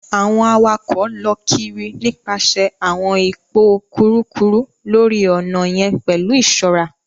Awọn awakọ lọ kiri nipasẹ awọn ipo kurukuru lori ọnà yen pẹlu iṣọra.